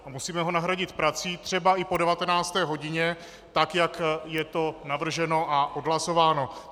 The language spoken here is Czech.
A musíme ho nahradit prací třeba i po 19. hodině tak, jak je to navrženo a odhlasováno.